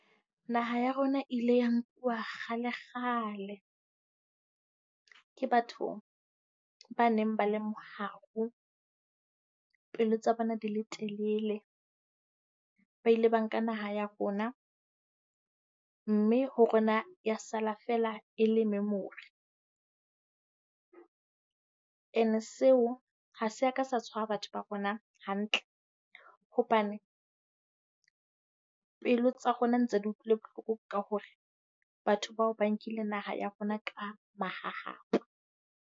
Naha ya rona ile ya nkuwa kgalekgale ke batho ba neng ba le moharo, pelo tsa bona di le telele. Ba ile ba nka naha ya rona mme ho rona ya sala feela e le memory. And-e seo ha se a ka sa tshwara batho ba rona hantle. Hobane pelo tsa rona ntse di utlwile bohloko ka hore batho bao ba nkile naha ya rona ka mahahapa.